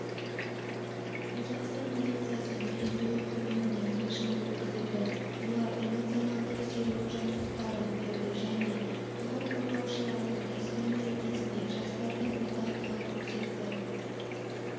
қазақстан полициясы мерейтойы құрметіне флешмоб өткізілді олар эмоционалдық серігу жаттықтарын берді және құқық қорғаушылардың кәсіби мерекесіне жастардың ортақтығын көрсетті